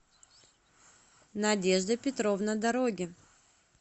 надежда петровна дороги